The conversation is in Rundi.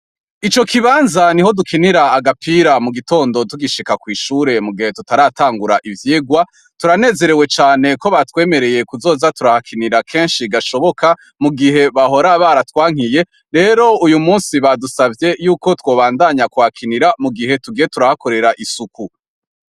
Ico kibanza niho dukinira agapira mugitondo tugishika kw'ishure mugihe tutaratangura ivyigwa, turanezerewe cane ko batwemereye kuzoza turahakinira kenshi gashoboka mugihe bahora baratwankiye, rero uyumusi badusavye yuko twobandanya kuhakinira mugihe tugiye turahakorera isuku.